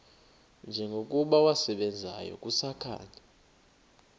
njengokuba wasebenzayo kusakhanya